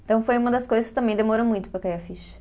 Então, foi uma das coisas que também demorou muito para cair a ficha.